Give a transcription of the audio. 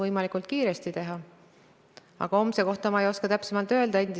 Mitte keegi spetsialistidest ei tea seda, kuidas inimene hakkab oma pensionirahaga käituma, see on kõik oletuste pinnal.